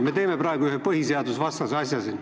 Me teeme praegu ühe põhiseadusvastase asja siin.